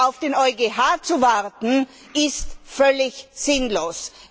Auf den EuGH zu warten, ist völlig sinnlos.